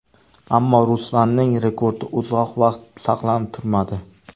Ammo Ruslanning rekordi uzoq vaqt saqlanib turmadi.